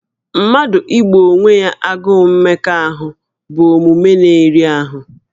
Mmadụ igbò onwe ya agụụ mmekọahụ bụ omume na-eri ahụ